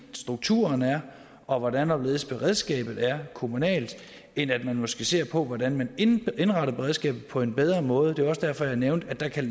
strukturen er og hvordan og hvorledes beredskabet er kommunalt end at man måske ser på hvordan man indretter beredskabet på en bedre måde det var også derfor jeg nævnte at der kan